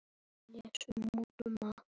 Og þær hlupu.